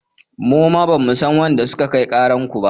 Muma bamu san waɗanda suka kai ƙarar ku ba.